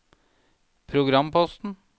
programposten